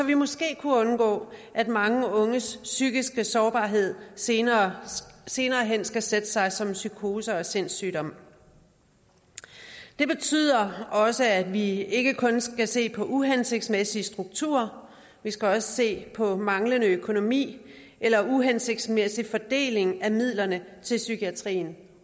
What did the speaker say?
vi måske kunne undgå at mange unges psykiske sårbarhed senere senere hen skal sætte sig som psykoser og sindssygdom det betyder også at vi ikke kun skal se på uhensigtsmæssige strukturer vi skal også se på manglende økonomi eller uhensigtsmæssig fordeling af midlerne til psykiatrien